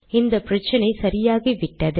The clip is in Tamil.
இந்த பிரச்சினை சரியாகிவிட்டது